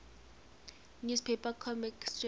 newspaper comic strip